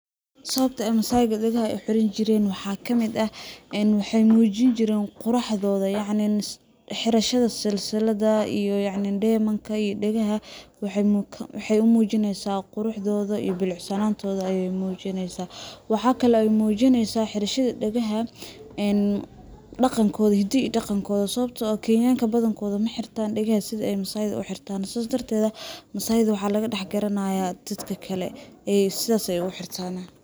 Sawabta ay Masaayda dhagaha u xirasn jireen waxa kamid ah ,een waxey muujin jireen qurxadooda yacni xirashada silsiladda iyo dheymanka iyo dhagaha ,waxey u mujineysaa quruxdooda iyo bilicsanoontooda ayey mujineysaa. Waxa kale ay mujineysaa xirashada dhagaha een dhaqankooda ,hiddaha iyo dhaqankooda ,sawabtoo ah kenyan ka badankooda ma xirtaan dhagaha sidi ay Masaayda u xirtaan sidaas darteeda Masayda waxa laga dhax garanaya dadka kale ,sidaas ayey u xirtanaa .